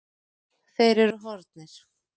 Þeir eru horfnir.